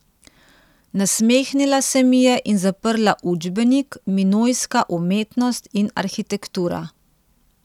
Nasmehnila se mi je in zaprla učbenik Minojska umetnost in arhitektura.